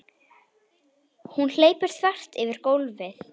Hún hleypur þvert yfir gólfið.